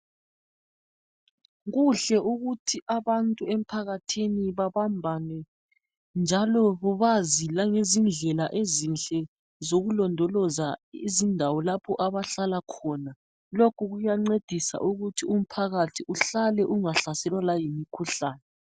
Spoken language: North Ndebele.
Kuhle ukuthi abantu emphakathini babambane njalo bazi langezindlela ezinhle zokulondoloza izindawo lapho abahlala khona lokhu kuyancedisa ukuthi umphakathi uhlale ungahlaselwa layimikhuhlane.